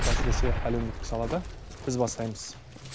әсіресе әлеуметтік салада біз бастаймыз